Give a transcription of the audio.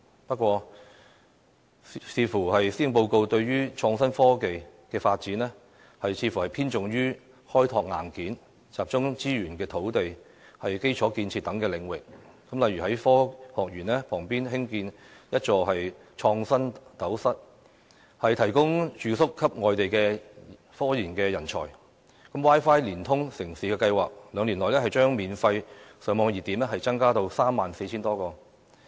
不過，觀乎施政報告就創新科技的發展方面，似乎偏重於開拓"硬件"，集中資源在土地、基礎建設等領域，例如在科學園旁舉建一座"創新斗室"，提供住宿給外地科研人才、"Wi-Fi 連通城市"的計劃，兩年內將增加免費上網熱點至 34,000 多個。